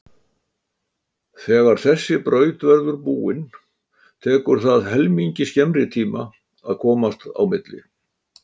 Þegar þessi braut verður búin tekur það helmingi skemmri tíma að komast á milli.